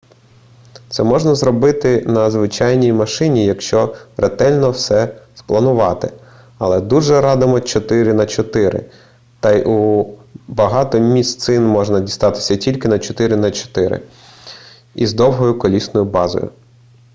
це можна зробити на звичайній машині якщо ретельно все спланувати але дуже радимо 4x4 та й у багато місцин можна дістатися тільки на 4x4 із довгою колісною базою